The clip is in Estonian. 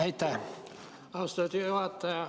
Aitäh, austatud juhataja!